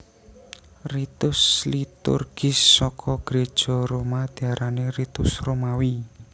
Ritus liturgis saka Gréja Roma diarani Ritus Romawi